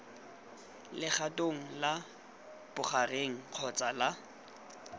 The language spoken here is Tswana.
legatong la bogareng kgotsa la